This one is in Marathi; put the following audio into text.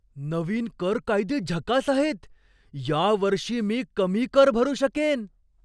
नवीन कर कायदे झकास आहेत! या वर्षी मी कमी कर भरू शकेन!